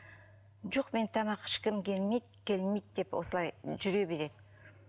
жоқ мен тамақ ішкім келмейді келмейді деп осылай жүре береді